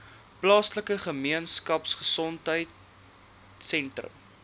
plaaslike gemeenskapgesondheid sentrum